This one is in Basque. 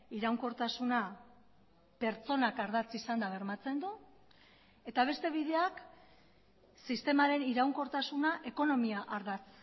iraunkortasuna pertsonak ardatz izanda bermatzen du eta beste bideak sistemaren iraunkortasuna ekonomia ardatz